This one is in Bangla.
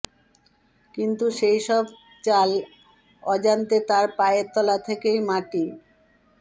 কিন্তু সেই সব চাল অজান্তে তাঁর পায়ের তলা থেকেই মাটি